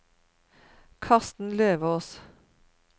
Karsten Løvås